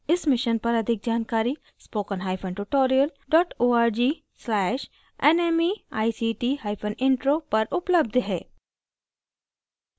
इस mission पर अधिक जानकारी spoken hyphen tutorial dot org slash nmeict hyphen intro पर उपलब्ध है